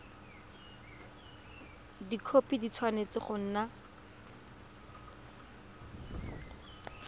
dikhopi di tshwanetse go nna